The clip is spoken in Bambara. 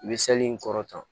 I bɛ in kɔrɔtan